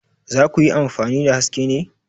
Za ku yi amfani da Haske ne?